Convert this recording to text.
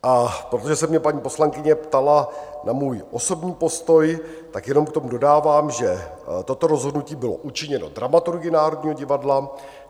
A protože se mě paní poslankyně ptala na můj osobní postoj, tak jenom k tomu dodávám, že toto rozhodnutí bylo učiněno dramaturgy Národního divadla.